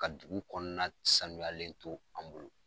Ka dugu kɔnɔna sanuyalen to an bolo.